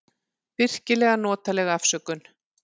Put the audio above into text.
Virkilega notaleg afsökun.